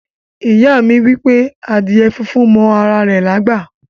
Iya mi wipe adíè fúnfún mọ ara rè lágbá.